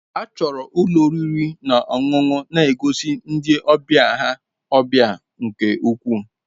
A chọrọ ka ụlọ oriri na ọṅụṅụ na-egosi ndị ọbịa ha ọbịa nke ukwuu.